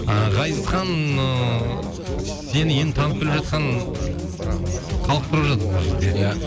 ы ғазизхан ыыы сені енді танып біліп жатқан ыыы халық біліп жатыр мына жерде иә